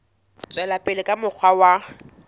tswela pele ka mokgwa wa